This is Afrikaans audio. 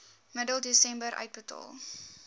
middel desember uitbetaal